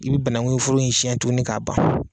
I bɛ banankun foro in siɲɛ tugunni k'a ban.